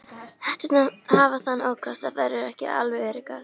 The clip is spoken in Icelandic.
Hetturnar hafa þann ókost að þær eru ekki alveg öruggar.